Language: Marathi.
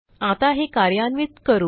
आता हे कार्यान्वित करू